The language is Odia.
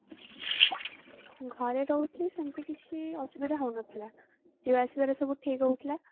ଘରେ ରହୁଥିଲି ସେମିତି କିଛି ଅସୁବିଧା ହଉନଥିଲା ଯିବା ଆସିବାରେ ସବୁ ଠିକ ହଉଥିଲା